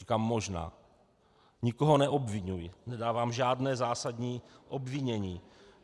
Říkám možná, nikoho neobviňuji, nedávám žádné zásadní obvinění.